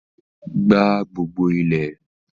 gbá gbogbo ilẹ̀!